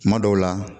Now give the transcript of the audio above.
Kuma dɔw la